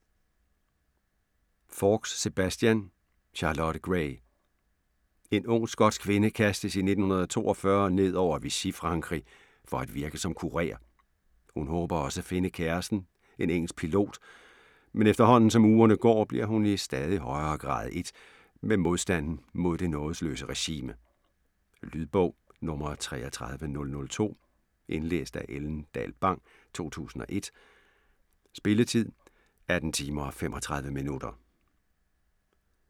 Faulks, Sebastian: Charlotte Gray En ung skotsk kvinde kastes i 1942 ned over Vichy-Frankrig for at virke som kurér. Hun håber også at finde kæresten, en engelsk pilot, men efterhånden som ugerne går, bliver hun i stadig højere grad ét med modstanden mod det nådesløse regime. Lydbog 33002 Indlæst af Ellen Dahl Bang, 2001. Spilletid: 18 timer, 35 minutter.